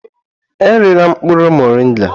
Erila mkpụrụ moringa!